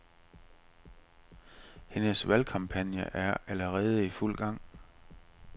Hendes valgkampagne er allerede i fuld gang.